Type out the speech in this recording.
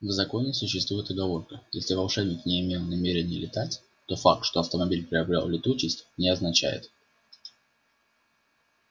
в законе существует оговорка если волшебник не имел намерения летать то факт что автомобиль приобрёл летучесть не означает